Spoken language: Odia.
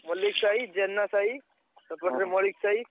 ମଲ୍ଲିକ ସାହି, ଜେନା ସାହି ସେପଟରେ ମଳିକ୍‌ ସାହି।